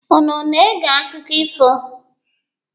Unu na-ege akụkọ ifo?